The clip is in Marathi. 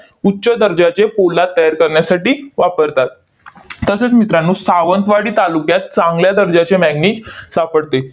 उच्च दर्जाचे पोलाद तयार करण्यासाठी वापरतात. तसेच मित्रांनो, सावंतवाडी तालुक्यात चांगल्या दर्जाचे manganese सापडते.